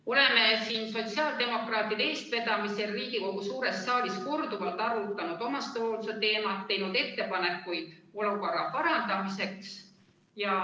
Oleme sotsiaaldemokraatide eestvedamisel siin Riigikogu suures saalis korduvalt arutanud omastehoolduse teemat ja teinud ettepanekuid olukorra parandamiseks.